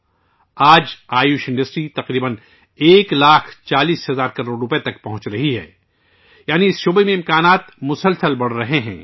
آج Ayush manufacturing industry تقریباً ایک لاکھ چالیس ہزار کروڑ روپئے تک پہنچ رہی ہے، جس کا مطلب ہے کہ اس شعبے میں امکانات مسلسل بڑھ رہے ہیں